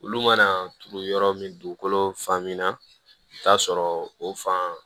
Olu mana turu yɔrɔ min dugukolo fan min na i bi taa sɔrɔ o fan